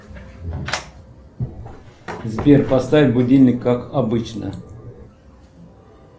сбер поставь будильник как обычно